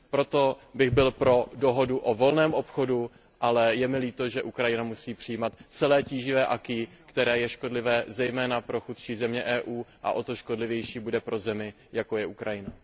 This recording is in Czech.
Proto bych byl pro dohodu o volném obchodu, ale je mi líto, že Ukrajina musí přijímat celé tíživé acquis které je škodlivé zejména pro chudší země Evropské unie a o to škodlivější bude pro zemi, jako je Ukrajina.